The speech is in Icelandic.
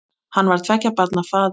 Hann var tveggja barna faðir.